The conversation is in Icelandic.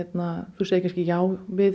þú segir já við